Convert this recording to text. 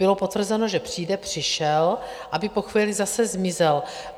Bylo potvrzeno, že přijde, přišel, aby po chvíli zase zmizel.